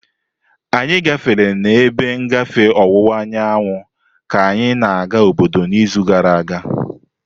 Anyị gafere n'ebe ngafe ọwụwa anyanwụ ka anyị na-aga obodo n'izu gara aga.